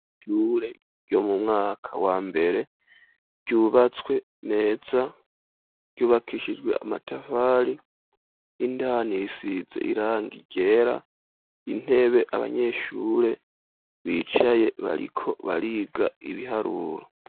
Ishure ryo mu mwaka wa mbere ,ryubatswe neza ryubakishijwe amatafari 'indani isize irangi ryera ,intebe abanyeshure bicaye bariko bariga ibiharuro.